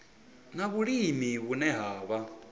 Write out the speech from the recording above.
na vhulimi vhune ha vha